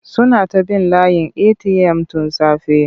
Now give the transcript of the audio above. Suna ta bin layin eti'yam tun safe.